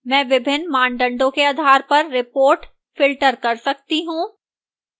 मैं विभिन्न मानदंडों के आधार पर reports filter कर सकती हूँ